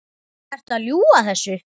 Ertu að ljúga þessu?